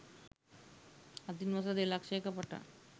අදින් වසර දෙලක්ෂයක පටන්